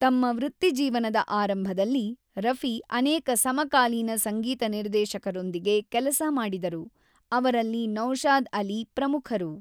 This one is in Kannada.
ತಮ್ಮ ವೃತ್ತಿಜೀವನದ ಆರಂಭದಲ್ಲಿ, ರಫಿ ಅನೇಕ ಸಮಕಾಲೀನ ಸಂಗೀತ ನಿರ್ದೇಶಕರೊಂದಿಗೆ ಕೆಲಸ ಮಾಡಿದರು, ಅವರಲ್ಲಿ ನೌಶಾದ್‌ ಅಲಿ ಪ್ರಮುಖರು.